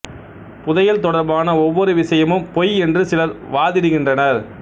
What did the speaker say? புதையல் தொடர்பான ஒவ்வொரு விசயமும் பொய் என்று சிலர் வாதிடுகின்றனர்